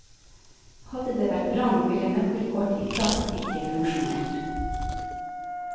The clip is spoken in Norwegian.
Hadde det vært brann, ville nøkkelkort i plast ikke funksjonert.